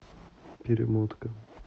перемотка